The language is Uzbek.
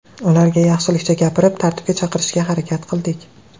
Ularga yaxshilikcha gapirib, tartibga chaqirishga harakat qildik.